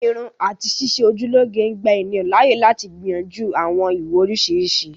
Irun àti ṣíṣe ojú lọ́ge ń gbà ènìyàn láàyè lati gbìyànjú àwọn ìwò oriṣiriṣi